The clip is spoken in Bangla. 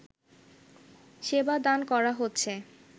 সেবা দান করা হচ্ছে